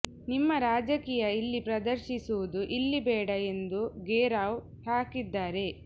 ನಿಮ್ಮ ರಾಜಕೀಯ ಇಲ್ಲಿ ಪ್ರದರ್ಶಿಸುವುದು ಇಲ್ಲಿ ಬೇಡ ಎಂದು ಘೇರಾವ್ ಹಾಕಿದ್ದಾರೆ